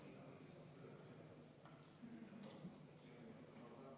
Aitäh, austatud eesistuja!